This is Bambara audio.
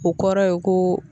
O kɔrɔ ye ko